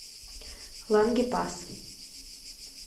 лангепас